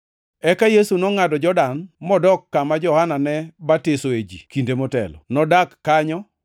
Eka Yesu nongʼado Jordan modok kama Johana ne batisoe ji kinde motelo. Nodak kanyo,